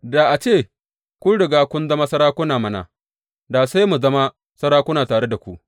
Da a ce kun riga kun zama sarakuna mana da sai mu zama sarakuna tare da ku!